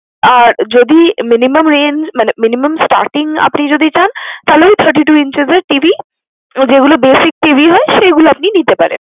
আর যদি minimum range মানে, minimum starting আপনি যদি চান, তাহলে ওই thirty-two inches এর TV যেগুলো basic TV হয়, সেগুল আপনি নিতে পারেন।